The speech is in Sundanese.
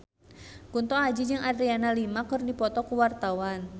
Kunto Aji jeung Adriana Lima keur dipoto ku wartawan